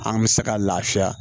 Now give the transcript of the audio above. An bɛ se ka lafiya